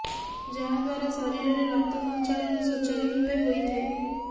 ଯାହା ଦ୍ବାରା ଶରୀରରେ ରକ୍ତ ସଚାଂଚଳ ସୂଚାରୁ ରୁପେ ହୋଇଥାଏ